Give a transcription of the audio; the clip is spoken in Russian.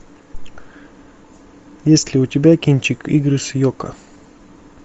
есть ли у тебя кинчик игры с йоко